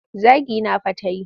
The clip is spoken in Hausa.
Zagina ta fa ta yi.